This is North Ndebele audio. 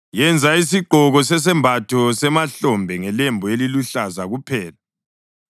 “Yenza isigqoko sesembatho semahlombe ngelembu eliluhlaza kuphela,